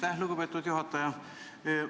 Aitäh, lugupeetud juhataja!